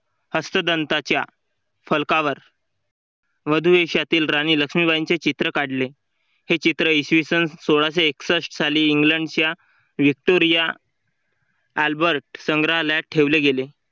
हस्तदंताच्या फलकावर वधू वेशातील राणी लक्ष्मीबाई यांचे चित्र काढले. हे चित्र इसवीसन सोळाशे एकसष्ठ साली इंग्लंडच्या Victoria Albert संग्रहालयात ठेवले गेले.